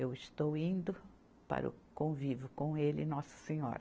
Eu estou indo para o convívio com ele e Nossa Senhora.